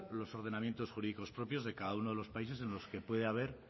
los ordenamientos jurídicos propios de cada uno de la países en los que puede haber